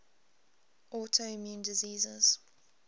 autoimmune diseases